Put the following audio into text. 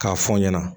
K'a fɔ n ɲɛna